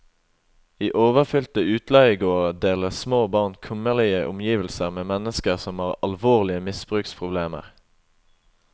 I overfylte utleiegårder deler små barn kummerlige omgivelser med mennesker som har alvorlige misbruksproblemer.